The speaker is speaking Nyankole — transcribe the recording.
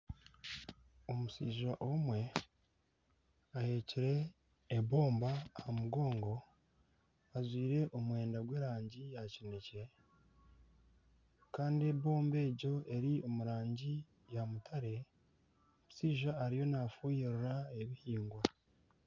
Omushaija omwe aheekire ebomba aha mugongo ajwaire omwenda gw'erangi ya kinekye kandi ebomba egyo eri omu rangi ya mutare. Omushaija ariyo nafuuhirira ebihingwa.